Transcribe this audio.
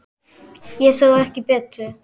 Ég sá ekki betur.